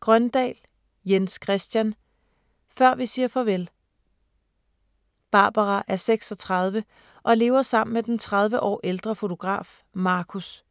Grøndahl, Jens Christian: Før vi siger farvel Barbara er 36 og lever sammen med den tredive år ældre fotograf Marcus.